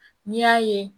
N'i y'a ye